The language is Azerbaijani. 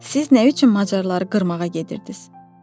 Siz nə üçün macarları qırmağa gedirdiniz?